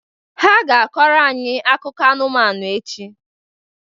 Ha ga-akọrọ anyị akụkọ anụmanụ echi